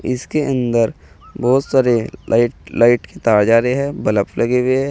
इसके अंदर बहोत सारे लाइट लाइट की तार जा रहे है बलफ लगे हुए है।